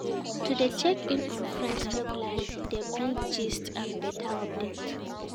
To de check in on friends regularly de bring gist and better update